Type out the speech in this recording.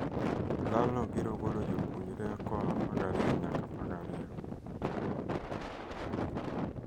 Lal no biro golo jopuonre koaa l2' nyaka l2''.